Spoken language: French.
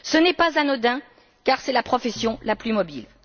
Ce n'est pas anodin, car c'est la profession la plus mobile.